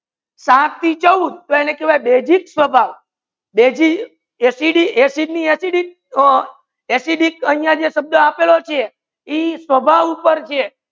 સાત થી ચૌદ કેહવાયે બેઝિક સ્વાભાવ બેઝિ acid acid ની acidic એસિડિક અહિયા જે શબ્દ આપેલુ છે એ સ્વભાવ ઉપર છે